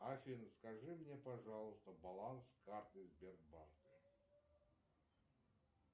афина скажи мне пожалуйста баланс карты сбербанка